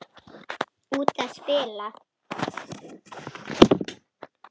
Út að spila.